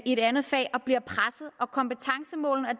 et andet fag og bliver presset og kompetencemålene og